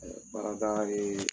baarada ye